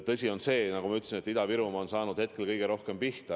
Tõsi on see, nagu ma ütlesin, et Ida-Virumaa on saanud kõige rohkem pihta.